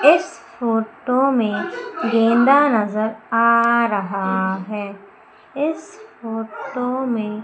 इस फोटो में गेंदा नजर आ रहा है इस फोटो में--